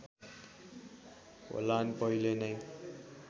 होलान् पहिले नै